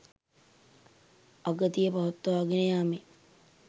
අගතිය පවත්වාගෙන යාමෙන්